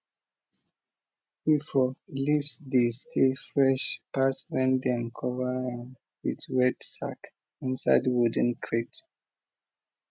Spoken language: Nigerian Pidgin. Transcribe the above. efo leaves dey stay fresh pass when dem cover am with wet sack inside wooden crate